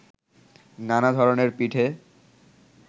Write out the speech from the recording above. নানা ধরনের পিঠে